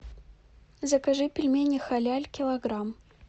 закажи пельмени халяль килограмм